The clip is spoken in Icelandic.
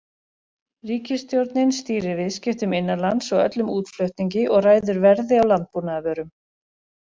Ríkisstjórnin stýrir viðskiptum innanlands og öllum útflutningi og ræður verði á landbúnaðarvörum.